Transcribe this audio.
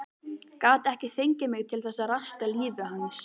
Gat ekki fengið mig til þess að raska lífi hans.